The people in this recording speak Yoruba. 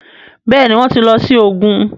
Béèni wón tí ló sì ògún.